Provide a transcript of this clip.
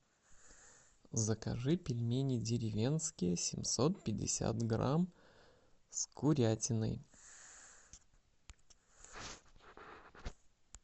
закажи пельмени деревенские семьсот пятьдесят грамм с курятиной